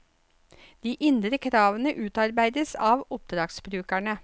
De indre kravene utarbeides av oppdragsbrukerne.